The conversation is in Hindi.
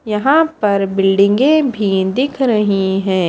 यहां पर बिल्डिंगे भी दिख रही हैं।